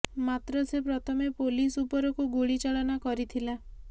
ମାତ୍ର ସେ ପ୍ରଥମେ ପୋଲିସ ଉପରକୁ ଗୁଳି ଚାଳନା କରିଥିଲା